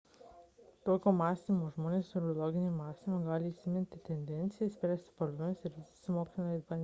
tokio mąstymo žmonės turi loginį mąstymą gali įsiminti tendencijas spręsti problemas ir dirbti su moksliniais bandymais